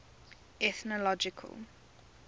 ethnological